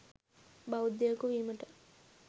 බෞද්ධයකු වීමට